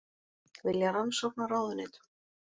Vilja rannsókn á ráðuneytum